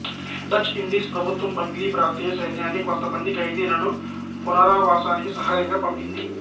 Dutch Indies ప్రభుత్వం Bangli ప్రాంతీయ సైన్యాన్ని కొంతమంది ఖైదీలను పునరావాసానికి సహాయంగా పంపింది